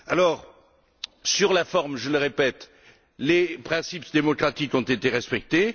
Alors, sur la forme je le répète les principes démocratiques ont été respectés.